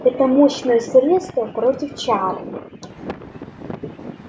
это мощное средство против чар